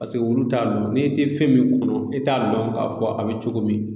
Paseke olu t'a dɔn, n'e tɛ fɛn min kɔnɔ i t'a dɔn k'a fɔ a bɛ cogo min.